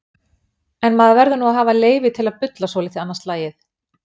En maður verður nú að hafa leyfi til að bulla svolítið annað slagið.